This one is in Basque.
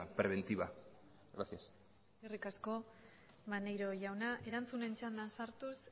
preventiva gracias eskerrik asko maneiro jauna erantzunen txandan sartuz